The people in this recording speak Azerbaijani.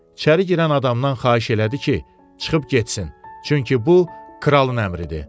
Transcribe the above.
İçəri girən adamdan xahiş elədi ki, çıxıb getsin, çünki bu kralın əmridir.